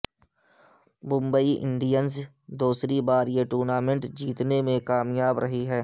Mumbai Indians دوسری بار یہ ٹورنامنٹ جیتنے میں کامیاب رہی ہے